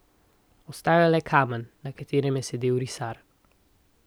Ostal je le kamen, na katerem je sedel risar.